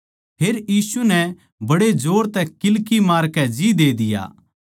फेर यीशु नै बड्डे जोर तै किल्की मारकै जी दे दिया